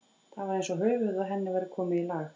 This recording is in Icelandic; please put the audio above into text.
Það var eins og höfuðið á henni væri komið í lag.